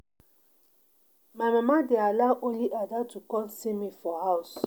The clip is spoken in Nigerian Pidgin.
My mama dey allow only Ada to come see me for house